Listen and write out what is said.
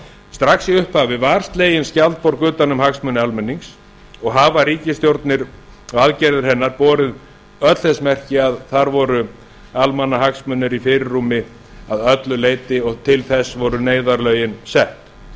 strax í upphafi var slegin skjaldborg utan um hagsmuni almennings og hafa aðgerðir ríkisstjórnar borið öll þess merki að þar voru almannahagsmunir í fyrirrúmi að öllu leyti og til þess voru neyðarlögin sett